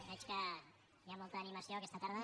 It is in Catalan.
veig que hi ha molta animació aquesta tarda